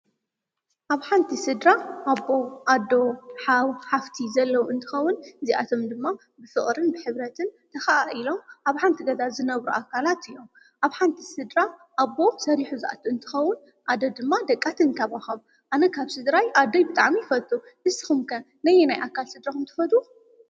ኣብ ሓንቲ ስድራ ኣቦ ፣ኣዶ፣ ሓው፣ ሓፍቲ ዘለዉ እንተኸዉን፣ እዚኣቶም ድማ ብፍቕርን ብኅብረትን ተኸዓ ኢሎም ኣብ ሓንቲ ገዛ ዝነብሩ ኣካላት እዮም፡፡ ኣብ ሓንቲ ስድራ ኣቦ ሰሪኁ ዝኣቱ እንትኸዉን ኣዶ ድማ ደቃ ትንተባኸብ ኣነ ካብ ስድራይ ኣደይ ብጣዕሚ ይፈቱ፡፡ ንስኹም ከ ነየናይ ኣካል ስድራኹም ትፈትው?